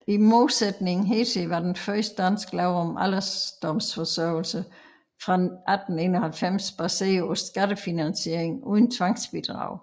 I modsætning hertil var den første danske lov om alderdomsforsørgelse fra 1891 baseret på skattefinansiering uden tvangsbidrag